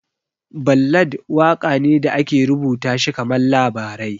Ballad waƙa ne da ake rubuta shi kaman labarai